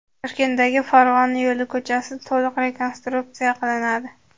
Toshkentdagi Farg‘ona yo‘li ko‘chasi to‘liq rekonstruksiya qilinadi.